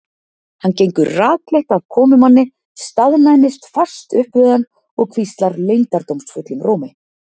Hann gengur rakleitt að komumanni, staðnæmist fast upp við hann og hvíslar leyndardómsfullum rómi